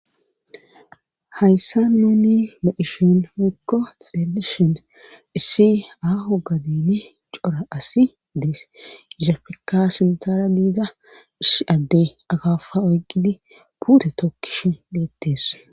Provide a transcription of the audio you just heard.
hayssa mooni mo7ishon hikko xelishon issi ahu gadene cora asi dees isafeka sintara diida ish adde agafa oyqqidi buude tokkish duuttees